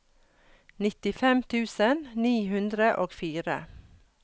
nittifem tusen ni hundre og fire